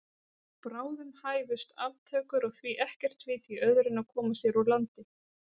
Bráðum hæfust aftökur og því ekkert vit í öðru en að koma sér úr landi.